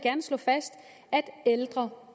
får